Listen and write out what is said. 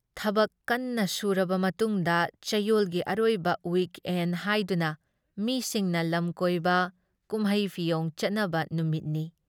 ꯊꯕꯛ ꯀꯟꯅ ꯁꯨꯔꯕ ꯃꯇꯨꯡꯗ ꯆꯌꯣꯜꯒꯤ ꯑꯔꯣꯏꯕ ꯋꯤꯛ ꯑꯦꯟꯗ ꯍꯥꯏꯗꯨꯅ ꯃꯤꯁꯤꯡꯅ ꯂꯝꯀꯣꯏꯕ, ꯀꯨꯝꯃꯩ ꯐꯤꯌꯣꯡ ꯆꯠꯅꯕ ꯅꯨꯃꯤꯠꯅꯤ ꯫